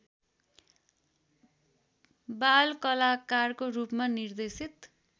बालकलाकारको रूपमा निर्देशित